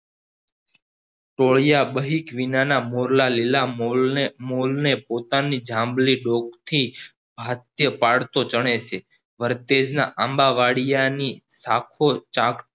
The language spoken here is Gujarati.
ટોળીય બ્હીક વિનાના મોરલા લીલા મોર મોરને પોતાની જાંબલી કોક થી હથે પડતો ચણે છે ફરતેજના આંબાવાળીની